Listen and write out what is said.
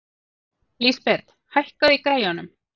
Lísabet, hækkaðu í græjunum.